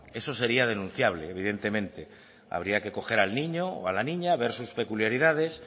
eso sería denunciable evidentemente habría que coger al niño o a la niña ver sus peculiaridades